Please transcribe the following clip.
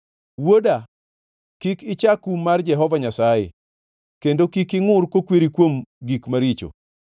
Wuoda, kik icha kum mar Jehova Nyasaye kendo kik ingʼur kokweri kuom gik maricho;